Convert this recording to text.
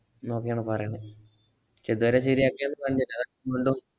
ന്നൊക്കെയാണ് പറയണേ. ക്ഷേ ഇദ് രെ ശരിയാക്കിയത് കണ്ടില്ല. അതാ